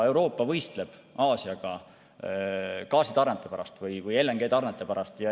Euroopa võistleb Aasiaga gaasitarnete pärast või LNG tarnete pärast.